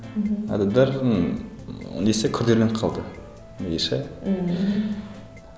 мхм адамдардың ы несі күрделеніп қалды несі мхм